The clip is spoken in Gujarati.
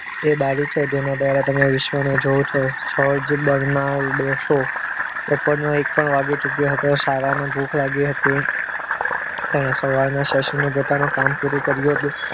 એ બારી છો જેના દ્વારા તમે વિશ્વા ને જુઓ છો જોર્જ બરનાલ્ડો દિવસો ઉપરનું એક પણ વાગી ચૂક્યો હતો સાળાને ભૂખ લાગી હતી. એણે સવારના session મા પોતાનું કામ પૂરું કર્યું હતું